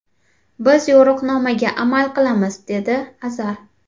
Biz yo‘riqnomaga amal qilamiz”, dedi Azar.